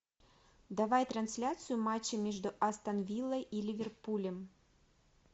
давай трансляцию матча между астон виллой и ливерпулем